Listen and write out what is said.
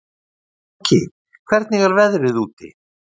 Gjúki, hvernig er veðrið úti?